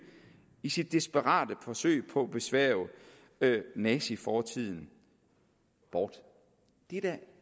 i sit desperate forsøg på at besværge nazifortiden bort